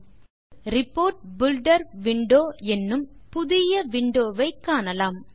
இப்போது report filter window என்னும் புதிய விண்டோ ஐ காணலாம்